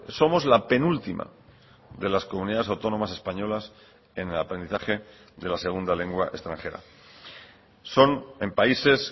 somos la penúltima de las comunidades autónomas españolas en el aprendizaje de la segunda lengua extranjera son en países